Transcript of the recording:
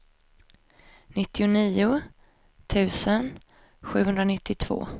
nittionio tusen sjuhundranittiotvå